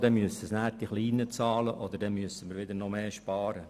Denn das müssen die Kleinen bezahlen, oder wir müssen noch mehr sparen.